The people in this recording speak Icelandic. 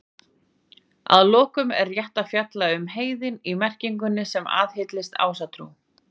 Að lokum er rétt að fjalla um orðið heiðinn í merkingunni sem aðhyllist Ásatrú.